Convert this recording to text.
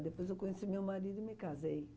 Depois eu conheci meu marido e me casei.